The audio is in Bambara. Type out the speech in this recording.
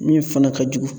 Min fana ka jugu